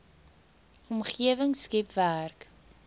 omgewing skep werk